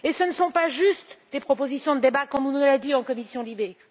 Ce ne sont pas juste des propositions de débat, comme on nous l'a dit en commission LIBE.